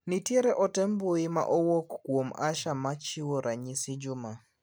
Nitier ote mbui ma owuok kuom Asha machiwo ranyisi Juma.